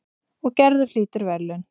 Og Gerður hlýtur verðlaun.